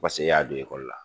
Paseke e y'a don la.